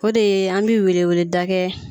O de ye an bi weleweleda kɛ.